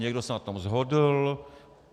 Někdo se na tom shodl.